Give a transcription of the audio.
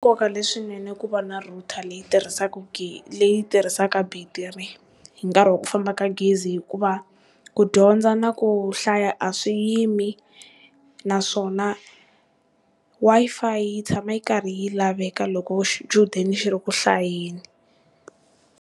Nkoka leswinene ku va na router leyi tirhisaka leyi tirhisaka battery hi nkarhi wa ku famba ka gezi hikuva ku dyondza na ku hlaya a swi yimi naswona Wi-Fi yi tshama yi karhi yi laveka loko xichudeni xi ri ku hlayeni.